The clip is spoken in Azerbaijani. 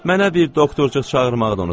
Mənə bir doktorcuq çağırmağı da unutma.